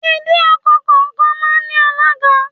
Ìdí ọkọ̀ kọ̀ọ̀kan máa ń ní alága.